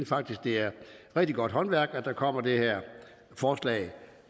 faktisk det er rigtig godt håndværk at der kommer det her forslag